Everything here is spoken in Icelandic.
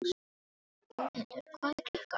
Bóthildur, hvað er klukkan?